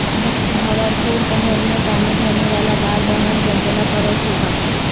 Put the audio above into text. بھنور پوکھرمیں تعمیر ہونے والا بال بھون زلزلہ پروف ہوگا